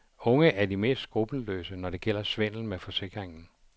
Unge er de mest skrupelløse, når det gælder svindel med forsikringen.